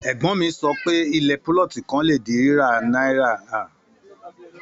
Ègbón mi sọ pé, ilẹ̀ púlọ̀tì kan le di ri rira ni ọgọ́ta náírà.